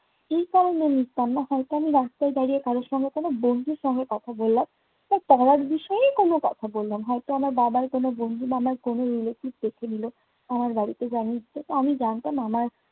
এই কারণে আমি মিশতাম না হয়তো আমি রাস্তায় দাড়িয়ে কারো সঙ্গে কোনো বন্ধুর সঙ্গে কথা বললাম, তো পড়ার বিষয়ে কোনো কথা বললাম, হয়তো আমার বাবার কোনো বন্ধু বা আমার কোনো relative দেখে নিল। আমার বাড়ির জানিয়ে দিত, তা আমি জানতাম। আমার